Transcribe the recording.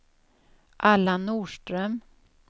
Allan Norström